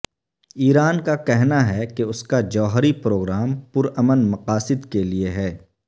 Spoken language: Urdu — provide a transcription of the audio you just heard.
ایران کا کہنا ہے کہ اس کا جوہری پروگرام پر امن مقاصد کے لیئے ہے